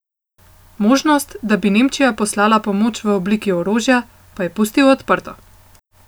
Možnost, da bi Nemčija poslala pomoč v obliki orožja, pa je pustil odprto.